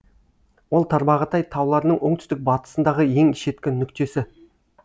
ол тарбағатай тауларының оңтүстік батысындағы ең шеткі нүктесі